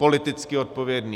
Politicky odpovědný?